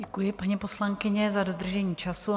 Děkuji, paní poslankyně, za dodržení času.